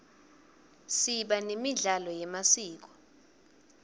siba nemidlalo yemasiko